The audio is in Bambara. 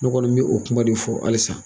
Ne kɔni bɛ o kuma de fɔ halisa